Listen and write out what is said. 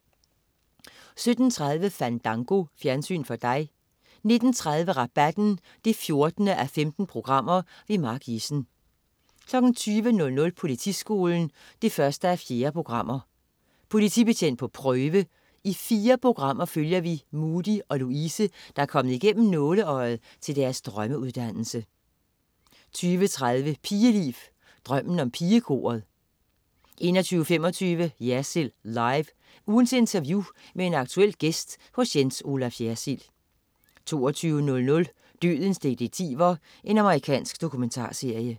17.30 Fandango. Fjernsyn for dig 19.30 Rabatten 14:15. Mark Jessen 20.00 Politiskolen 1:4. Politibetjent på prøve. I fire programmer følger vi Mudi og Louise, der er kommet igennem nåleøjet til deres drømmeuddannelse 20.30 Pigeliv. Drømmen om pigekoret 21.25 Jersild Live. Ugens interview med en aktuel gæst hos Jens Olaf Jersild 22.00 Dødens detektiver. Amerikansk dokumentarserie